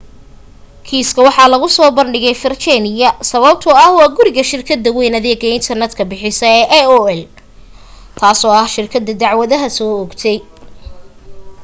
kiiska waxa lagu soo bandhigay virginia sababtoo ah waa guriga shirkada wayn adeega internet ka bixisa ee aol taaso ah shirkada dacdwada soo oogtay